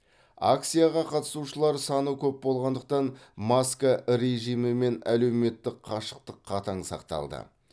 акцияға қатысушылар саны көп болғандықтан маска режимі мен әлеуметтік қашықтық қатаң сақталды